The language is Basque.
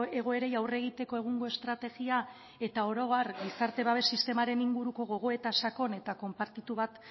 egoerei aurre egiteko egungo estrategia eta oro har gizarte babes sistemaren inguruko gogoeta sakon eta konpartitu bat